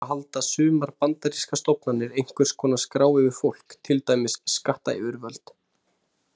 Vissulega halda sumar bandarískar stofnanir einhvers konar skrá yfir fólk, til dæmis skattayfirvöld.